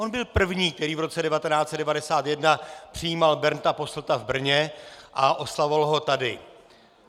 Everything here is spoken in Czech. On byl první, který v roce 1991 přijímal Bernda Posselta v Brně a oslavoval ho tady.